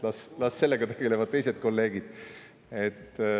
Las sellega tegelevad teised kolleegid.